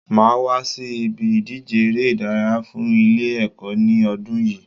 Màá wá sí ibi ìdíje eré ìdárayá fun Ilé èkó ní odún yìí